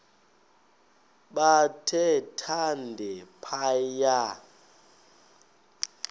bathe thande phaya